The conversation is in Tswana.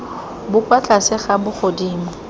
bo kwa tlase ga bogodimo